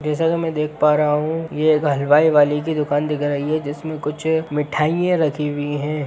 जैसा की मैं देख पा रहा हूँ ये एक हलवाई वाले की दुकान दिख रही है जिसमें कुछ मिठाइयाँ रखी हुई हैं।